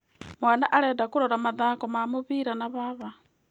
Mwana arenda kũrora mathako ma mũbira na baba.